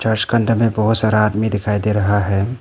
Church का अंदर में बहुत सारा आदमी दिखाई दे रहा है।